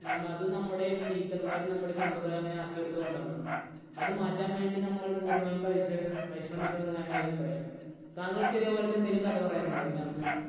നമ്മ അത് നമ്മുടെ teacher മാർ നമ്മുടെ സമ്പ്രദായം അങ്ങനെ ആക്കി എടുത്തത് കൊണ്ടാണ്. അത് മാറ്റാൻ വേണ്ടി നമ്മൾ പൂർണ്ണമായും പരിശ്ര പരിശ്രമിക്കണം എന്നാണ് അഭിപ്രായം. താങ്കൾക്ക് ഇതേപോലെത്തെ എന്തെങ്കിലും കഥ പറയാനുണ്ട് ഇതിനകത്ത്?